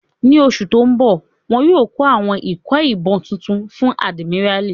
Ní oṣù tó n bọ̀, wọ́n yóò kó àwọn ikọ̀ ìbọn tuntun fún àdìmíràlí